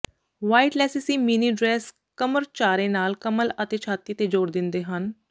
white ਲੈਸੈਸੀ mini dress ਕਮਰਚਾਰੇ ਨਾਲ ਕਮਲ ਅਤੇ ਛਾਤੀ ਤੇ ਜ਼ੋਰ ਦਿੰਦੇ ਹਨ